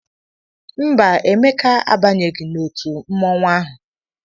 Mba, Emeka abanyeghị n'otu mmọnwụ ahụ.